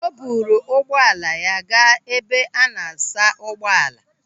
O buru ugbo ala ya gaa ebe a na-asa ụgbọala.